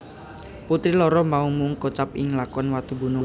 Putri loro mau mung kocap ing lakon Watugunung